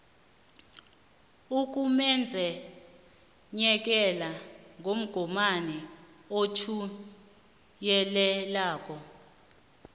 ukumenyezelwa komgomani othuwelelako